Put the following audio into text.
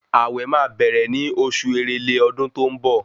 Àwẹ̀ máa bẹ̀rẹ̀ ní oṣù èrèlé ọdún tó ń bọ̀